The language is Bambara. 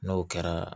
N'o kɛra